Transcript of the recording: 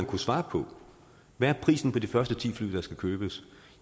kunne svare på hvad er prisen på de første ti fly der skal købes